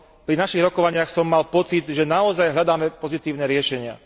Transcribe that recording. pri našich rokovaniach som mal pocit, že naozaj hľadáme pozitívne riešenia.